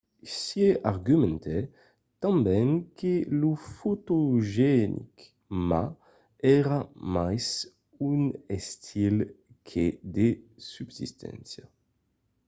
hsieh argumentèt tanben que lo fotogenic ma èra mai un estil que de substància